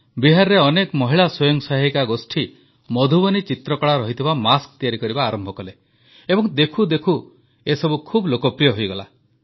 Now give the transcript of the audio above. ବିହାରରେ ଅନେକ ମହିଳା ସ୍ୱୟଂ ସହାୟକ ଗୋଷ୍ଠୀ ମଧୁବନୀ ଚିତ୍ରକଳା ରହିଥିବା ମାସ୍କ ତିଆରି କରିବା ଆରମ୍ଭ କଲେ ଏବଂ ଦେଖୁଦେଖୁ ଏସବୁ ଖୁବ୍ ଲୋକପ୍ରିୟ ହୋଇଗଲା